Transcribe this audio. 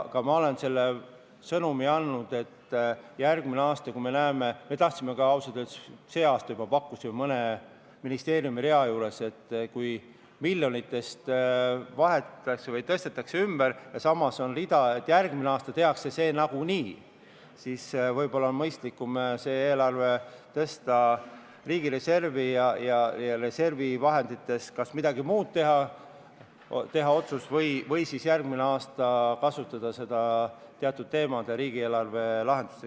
Ma olen selle sõnumi andnud, et järgmisel aastal – me tahtsime seda teha ausalt öeldes juba sellel aastal – on nii, et kui mõne ministeeriumi miljonitest midagi vahetatakse või tõstetakse ümber ja samas on rida, mida järgmisel aastal tehakse nagunii, siis võib olla mõistlikum tõsta see riigireservi ja otsustada kas reservivahenditest midagi muud teha või kasutada seda järgmisel aastal teatud riigieelarve teemade lahendusteks.